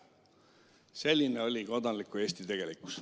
" Selline oli kodanliku Eesti tegelikkus.